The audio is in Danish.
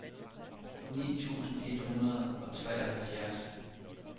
ni tusind et hundrede og treoghalvfjerds